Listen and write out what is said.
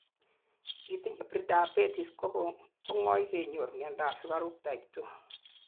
itinyei prediabetes kongoi kenyor miandap sugaruk type 2